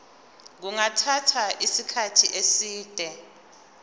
kungathatha isikhathi eside